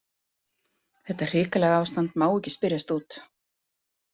Þetta hrikalega ástand má ekki spyrjast út.